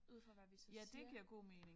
Ud fra hvad vi så siger